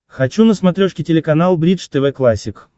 хочу на смотрешке телеканал бридж тв классик